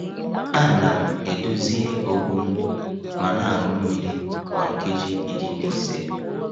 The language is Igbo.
A na m edozie okpu m ma na aṅụ mmiri kwa nkeji iri na ise.